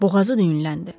Boğazı düyünləndi.